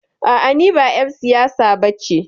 A'a, ni ba ƴar siyasa ba ce.